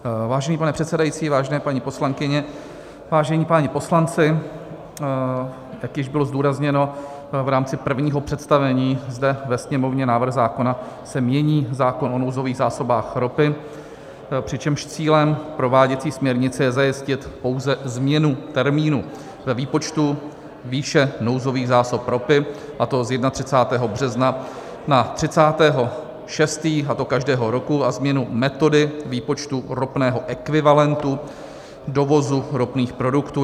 Vážený pane předsedající, vážené paní poslankyně, vážení páni poslanci, jak již bylo zdůrazněno v rámci prvního představení zde ve Sněmovně, návrhem zákona se mění zákon o nouzových zásobách ropy, přičemž cílem prováděcí směrnice je zajistit pouze změnu termínu ve výpočtu výše nouzových zásob ropy, a to z 31. března na 30. 6., a to každého roku, a změnu metody výpočtu ropného ekvivalentu dovozu ropných produktů.